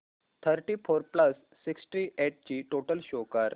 thirty four plus sixty eight ची total show कर